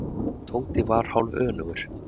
Tóti var hálfönugur.